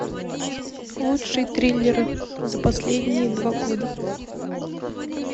лучшие триллеры за последние два года